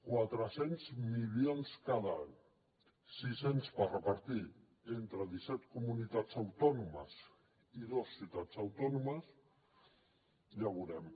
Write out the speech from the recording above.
quatre cents milions cada any sis cents per repartir entre disset comunitats autònomes i dues ciutats autònomes ja ho veurem